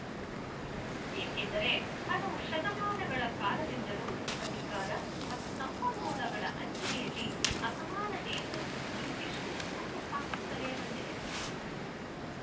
ಏಕೆಂದರೆ ಹಲವು ಶತಮಾನಗಳ ಕಾಲದಿಂದಲೂ ಅಧಿಕಾರ ಮತ್ತು ಸಂಪನ್ಮೂಲಗಳ ಹಂಚಿಕೆಯಲ್ಲಿ ಅಸಮಾನತೆಯನ್ನು ಇಂಗ್ಲಿಶು ಹುಟ್ಟು ಹಾಕುತ್ತಲೇ ಬಂದಿದೆ